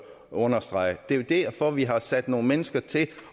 understrege det er jo derfor vi har sat nogle mennesker til